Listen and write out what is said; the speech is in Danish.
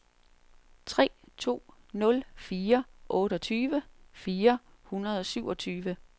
tre to nul fire otteogtyve fire hundrede og syvogtyve